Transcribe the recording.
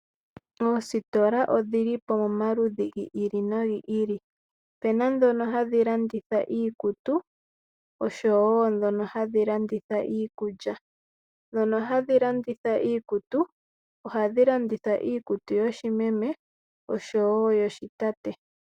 Oositola odhili po momaludhi gi ili nogi ili, opuna ndhono hadhi landitha iikutu oshowo ndhono hadhi landitha iikulya. Ndhono hadhi landitha iikutu, ohadhi landitha iikutu yoshimeme oshowo yoshitate.